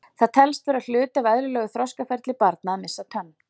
Það telst vera hluti af eðlilegu þroskaferli barna að missa tönn.